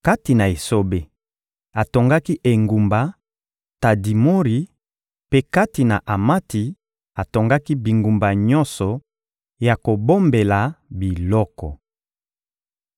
Kati na esobe, atongaki engumba Tadimori; mpe kati na Amati, atongaki bingumba nyonso ya kobombela biloko.